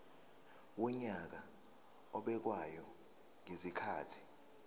wonyaka obekwayo ngezikhathi